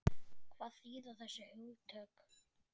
Hvað þýða þessi hugtök?